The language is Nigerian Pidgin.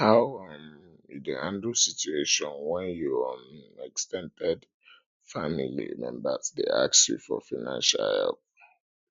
how um you dey handle situation when your um ex ten ded family members dey ask you for financial help um